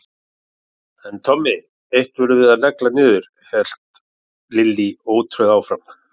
En Tommi, eitt verðum við að negla niður hélt Lilli ótrauður áfram.